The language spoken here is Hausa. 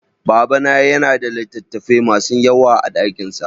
Babana ya na da littattafai ma su yawa a dakinsa